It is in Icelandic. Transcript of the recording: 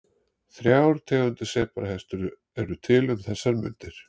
Þrjár tegundir sebrahesta eru til um þessar mundir.